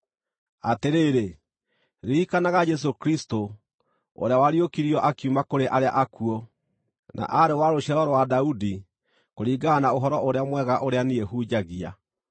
Atĩrĩrĩ, ririkanaga Jesũ Kristũ, ũrĩa wariũkirio akiuma kũrĩ arĩa akuũ, na aarĩ wa rũciaro rwa Daudi, kũringana na Ũhoro-ũrĩa-Mwega, ũrĩa niĩ hunjagia.